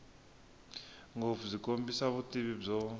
ngopfu byi kombisa vutivi byo